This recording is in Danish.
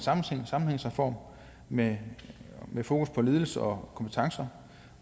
sammenhængsreform med fokus på ledelse og kompetencer og